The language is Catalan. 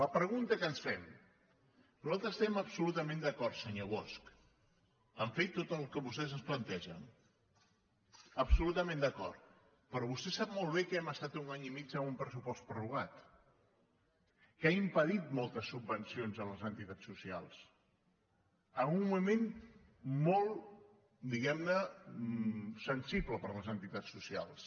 la pregunta que ens fem nosaltres estem absolutament d’acord senyor bosch a fer tot el que vostès ens plantegen absolutament d’acord però vostè sap molt bé que hem estat un any i mig amb un pressupost prorrogat que ha impedit moltes subvencions a les entitats socials en un moment molt diguem ne sensible per a les entitats socials